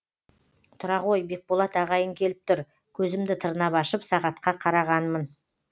тұра ғой бекболат ағайың келіп тұр көзімді тырнап ашып сағатқа қарағанмын